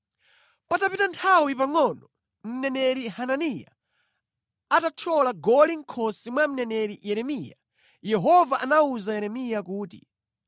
Patapita nthawi pangʼono, mneneri Hananiya atathyola goli mʼkhosi mwa mneneri Yeremiya, Yehova anawuza Yeremiya kuti,